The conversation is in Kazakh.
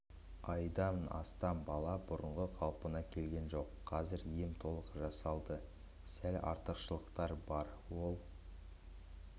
айдан асты бала бұрынғы қалпына келген жоқ қазір ем толық жасалды сәл артықшылықтар бар ол